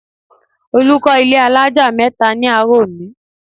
Olù kọ́ ilé alájà mẹ́ta ní àárọ̀ òní